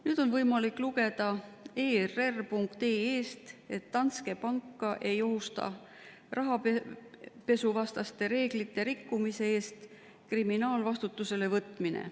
Nüüd on võimalik lugeda err.ee-st, et Danske Banki ei ohusta rahapesuvastaste reeglite rikkumise eest kriminaalvastutusele võtmine.